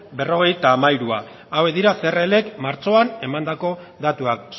berrogeita hamairua hauek dira crlk martxoan emandako datuak